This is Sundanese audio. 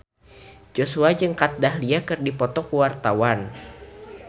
Joshua jeung Kat Dahlia keur dipoto ku wartawan